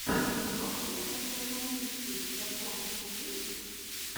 доктэ эдга камински у тебя в запасе есть